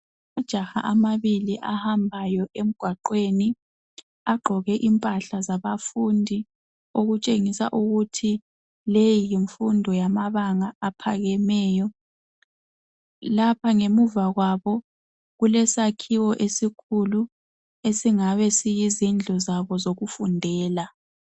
Amajaha amabili ahambayo emgwaqweni. Agqoke impahla zabafundi okutshengisa ukuthi le yimfundo yamabanga aphakemeyo. Lapha ngemuva kwabo kulesakhiwo esikhulu esingabe siyizindlu zabo zokufundela.